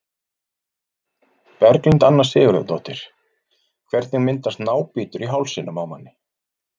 Berglind Anna Sigurðardóttir Hvernig myndast nábítur í hálsinum á manni?